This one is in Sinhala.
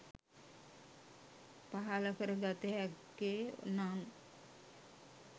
පහළ කර ගත හැක්කේ, නම්